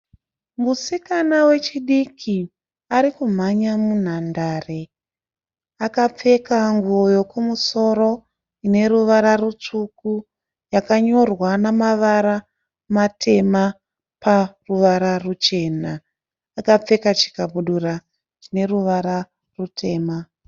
Musikana wechidiki arikumhanya munhandare. Akapfeka nguo yokumusoro ine ruvara rutsvuku yakanyorwa namavara matema paruvara ruchena. Akapfeka chikabudura chine ruvara rutema.